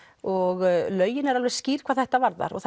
og lögin eru alveg skýr hvað þetta varðar og